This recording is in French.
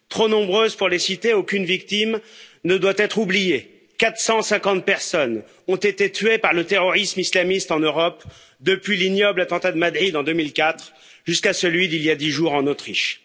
Trop nombreuses pour les citer, aucune victime ne doit être oubliée 450 personnes ont été tuées par le terrorisme islamiste en Europe, depuis l'ignoble attentat de Madrid en 2004, jusqu'à celui d'il y a 10 jours en Autriche.